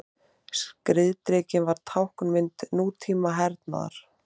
Skriðdrekinn varð táknmynd nútíma hernaðar.